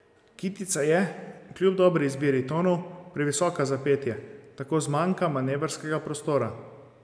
Kitica je, kljub dobri izbiri tonov, previsoka za petje, tako zmanjka manevrskega prostora.